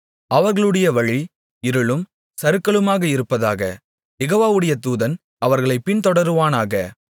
அவர்களுடைய வழி இருளும் சறுக்கலுமாக இருப்பதாக யெகோவாவுடைய தூதன் அவர்களைப் பின்தொடருவானாக